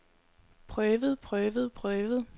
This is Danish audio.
prøvet prøvet prøvet